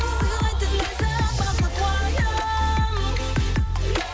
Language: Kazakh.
сыйлайтын ләззат бақыт уайым